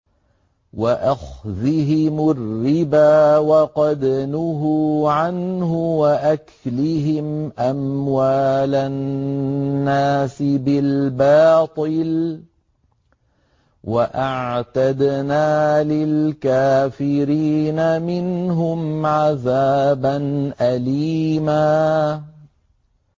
وَأَخْذِهِمُ الرِّبَا وَقَدْ نُهُوا عَنْهُ وَأَكْلِهِمْ أَمْوَالَ النَّاسِ بِالْبَاطِلِ ۚ وَأَعْتَدْنَا لِلْكَافِرِينَ مِنْهُمْ عَذَابًا أَلِيمًا